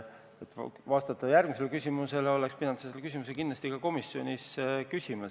Et sinu küsimusele vastata, oleks sa pidanud selle küsimuse kindlasti ka komisjonis esitama.